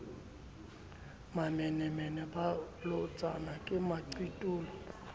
mamenemene ba bolotsana ke maqitolo